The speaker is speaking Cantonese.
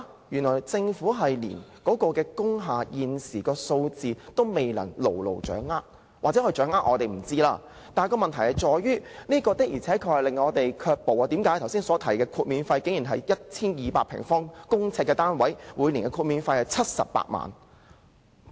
原來政府連工廈現時的數字都未能掌握——或許它掌握，只是我們不知道——但問題在於，這的確令申請人卻步，剛才提及的申請個案，涉及一個 1,200 平方公呎的單位，每年的豁免費是78萬元。